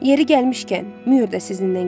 Yeri gəlmişkən, mühür də sizinlə gedir.